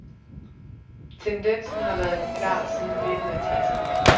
Tendensen har været klar siden midten af tresserne.